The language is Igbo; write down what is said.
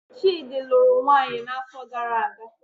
Chidi lụrụ nwunye n'afọ gara aga